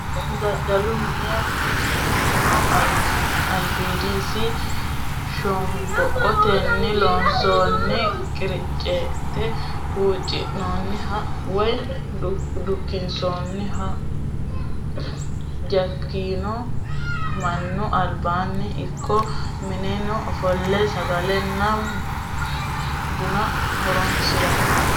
Dadalu mine kuni minino alibidosi shomboqotenni loonsonni qiriccinni huxinoonihha woyi dukkinonniho, jakonno manu alibanni ikko mineenni offole sagalenna buna horonsirano